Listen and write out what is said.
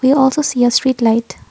we also see a street light.